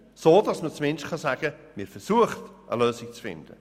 So kann man sagen, dass versucht wird, eine Lösung zu finden.